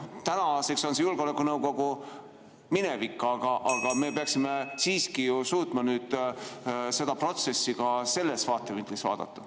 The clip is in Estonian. Tänaseks on julgeolekunõukogu minevik, aga me peaksime siiski ju suutma seda protsessi ka sellest vaatevinklist vaadata.